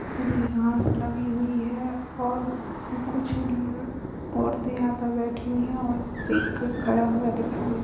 हरी घाँस लगी हुई है और कुछ लिए औरतें यहाँ पर बैठी हुई है और एक खड़ा हुआ दिखाई दे रहा है।